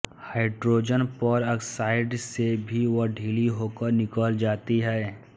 hydrogen peroxide से भी वह ढीली होकर निकल जाती है